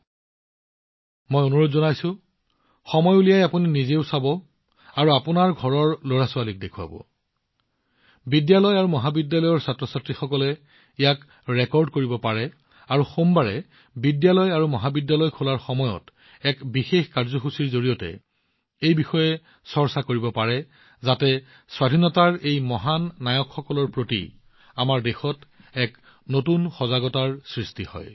মই আপোনালোকক অনুৰোধ কৰিছো যে আপোনালোকে সময় উলিয়াই চাব আৰু লগতে আপোনালোকৰ ঘৰৰ লৰাছোৱালীক দেখুৱাব আৰু বিদ্যালয় আৰু মহাবিদ্যালয়ৰ কৰ্মচাৰীসকলে ইয়াক ৰেকৰ্ড কৰিব পাৰে আৰু যেতিয়া সোমবাৰে বিদ্যালয় আৰু মহাবিদ্যালয় খোলা হয় তেওঁলোকে এক বিশেষ কাৰ্যসূচীৰ জৰিয়তে ইয়াক প্ৰদৰ্শন কৰিব পাৰে যাতে স্বাধীনতাৰ জন্মৰ এই মহান নায়কসকলৰ প্ৰতি আমাৰ দেশত এক নতুন সজাগতাৰ সৃষ্টি হয়